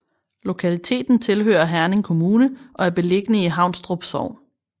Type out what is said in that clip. Lokaliteten tilhører Herning Kommune og er beliggende i Haunstrup Sogn